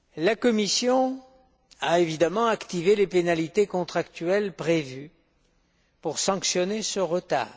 La Commission a évidemment activé les pénalités contractuelles prévues pour sanctionner ce retard.